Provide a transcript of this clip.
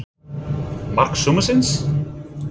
Mark sumarsins?